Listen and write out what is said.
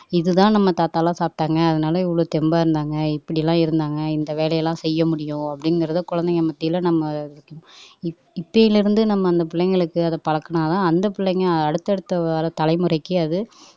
இதுதான் நம்ம தாத்தா எல்லாம் சாப்பிட்டாங்க அதனால இவ்வளவு தெம்பா இருந்தாங்க இப்படி எல்லாம் இருந்தாங்க இந்த வேலை எல்லாம் செய்ய முடியும் அப்படிங்கறத குழந்தைங்க மத்தியில நம்ம இப் இப்பிலிருந்து நம்ம அந்த பிள்ளைங்களுக்கு அதை பழக்கினால்தான் அந்த பிள்ளைங்க அடுத்தடுத்த வர தலைமுறைக்கு அது